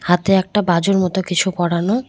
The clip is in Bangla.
হাতে একটা বাজুর মতো কিছু করানো।